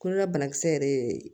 Kolola banakisɛ yɛrɛ ye